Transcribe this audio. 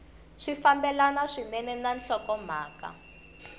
swi fambelana swinene na nhlokomhaka